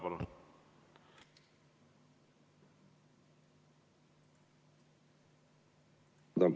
Palun!